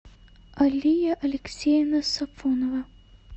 алия алексеевна сафонова